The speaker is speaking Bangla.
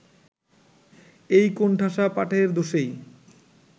এই কোণঠাসা পাঠের দোষেই